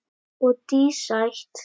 Og dísætt.